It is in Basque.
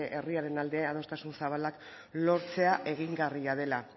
herriaren alde adostasun zabalak lortzea egingarria dela